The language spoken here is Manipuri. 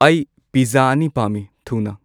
ꯑꯩ ꯄꯤꯖꯖꯥ ꯑꯅꯤ ꯄꯥꯝꯃꯤ ꯊꯨꯅ